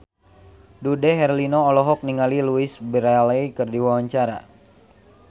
Dude Herlino olohok ningali Louise Brealey keur diwawancara